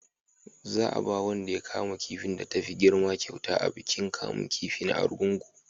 za a ba wanda ya kama kifin da ta fi girma kyauta a bikin kamun kifi na argungu